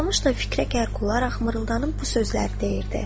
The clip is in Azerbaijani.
Toxdamış da fikrə qərq olaraq mırıldanıb bu sözləri deyirdi.